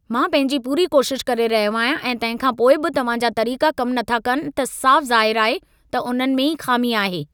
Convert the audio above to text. मां पंहिंजी पूरी कोशिश करे रहियो आहियां, ऐं तंहिंखां पोइ बि तव्हां जा तरीक़ा कम नथा कनि त साफ़ ज़ाहिरु आहे त उन्हनि में ई ख़ामी आहे।